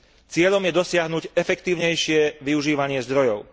Cieľom je dosiahnuť efektívnejšie využívanie zdrojov.